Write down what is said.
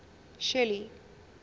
shelly